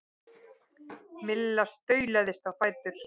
Milla staulaðist á fætur.